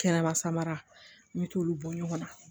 Kɛnɛba samara n bɛ t'olu bɔ ɲɔgɔn na